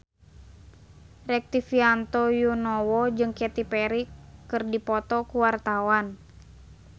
Rektivianto Yoewono jeung Katy Perry keur dipoto ku wartawan